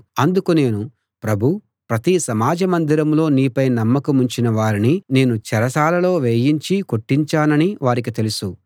అందుకు నేను ప్రభూ ప్రతి సమాజ మందిరంలో నీపై నమ్మకముంచిన వారిని నేను చెరసాలలో వేయించి కొట్టించానని వారికి తెలుసు